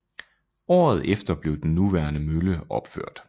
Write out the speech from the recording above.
Året efter blev den nuværende mølle opført